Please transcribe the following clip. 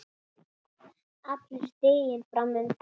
Allur stiginn fram undan.